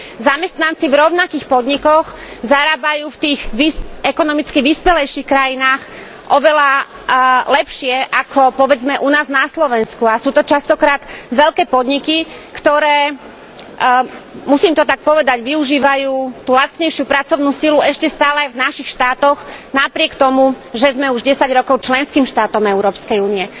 Zamestnanci v rovnakých podnikoch zarábajú v tých ekonomicky vyspelejších krajinách oveľa lepšie ako povedzme u nás na Slovensku a sú to častokrát veľké podniky, ktoré, musím to tak povedať, využívajú tú lacnejšiu pracovnú silu ešte stále v našich štátoch napriek tomu, že sme už 10 rokov členským štátom Európskej únie.